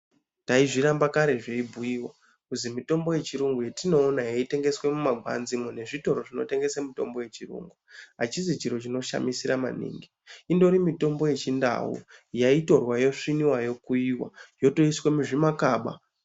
Taizviramba kare zveibhuyiwa kuzi mitombo yechirungu yetinoona yeitengeswe mumagwanzimo nezvitoro zvinotengese mitombo yechirungu achisi chiro chinoshamisira maningi indori mitombo yechindau yaitorwa, yosviniwa, yokuyiwa, yotoiswe muzvimakaba.